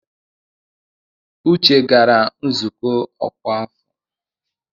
Uche gara nzukọ ọkwa afọ.